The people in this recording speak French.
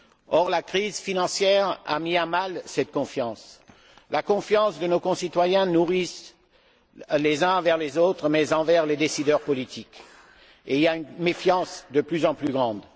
Or, la crise financière a mis à mal cette confiance, la confiance que nos concitoyens nourrissent les uns envers les autres mais aussi envers les décideurs politiques, et il y a une méfiance de plus en plus grande.